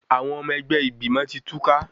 Àwọn ọmọ ẹgbẹ́ ìgbìmọ̀ ti túká.